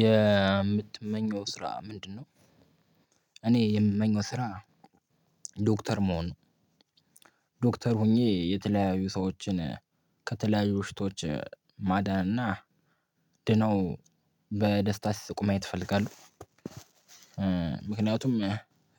የምትመኘው ስራ ምንድነው? እኔ የምመኘው ስራ ዶክተር መሆን ዶክተር ሆኜ የተለያዩ ሰዎችን ከተለያዩ በሽታዎች ማዳን እና ድነው በደስታ ሲስቁ ማየት እፈልጋለው። ምክንያቱም